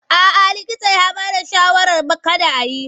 A'a likita ya bada shawarar kada a yi.